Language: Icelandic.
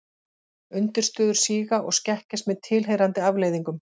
Undirstöður síga og skekkjast með tilheyrandi afleiðingum.